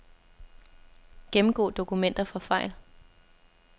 Gennemgå dokumenter for fejl.